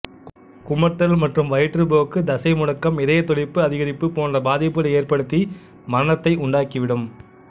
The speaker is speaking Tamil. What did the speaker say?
குமட்டல் மற்றும் வயிற்றுப்போக்கு தசை முடக்கம் இதயத் துடிப்பு அதிகரிப்பு போன்ற பாதிப்புகளை ஏற்படுத்தி மரணத்தை உண்டாக்கிவிடும்